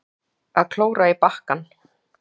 Að klóra í bakkann